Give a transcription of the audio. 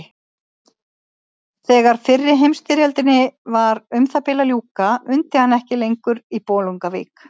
Þegar fyrri heimsstyrjöldinni var um það bil að ljúka undi hann ekki lengur í Bolungarvík.